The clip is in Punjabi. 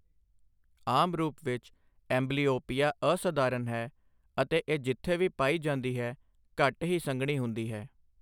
ਆਮ ਰੂਪ ਵਿੱਚ, ਐਂਬਲੀਓਪੀਆ ਅਸਧਾਰਨ ਹੈ ਅਤੇ ਇਹ ਜਿੱਥੇ ਵੀ ਪਾਈ ਜਾਂਦੀ ਹੈ, ਘੱਟ ਹੀ ਸੰਘਣੀ ਹੁੰਦੀ ਹੈ।